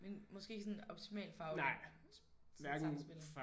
Men måske ikke sådan optimalt fagligt? Sådan sammenspillet?